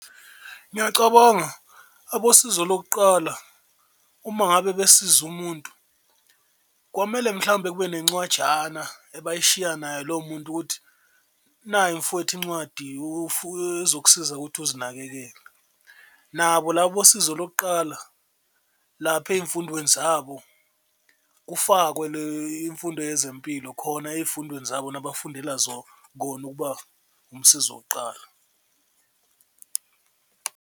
Ngiyacabanga abosizo lokuqala uma ngabe besize umuntu kwamele mhlawumbe kube nencwajana ebayishiya naye lo muntu ukuthi nayi mfwethi incwadi ezokusiza ukuthi uzinakekele. Nabo laba abosizo lokuqala lapha ey'mfundweni zabo kufakwe imfundo yezempilo khona ey'fundweni zabo nabafundela kona ukuba umsizi wokuqala.